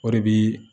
O de bi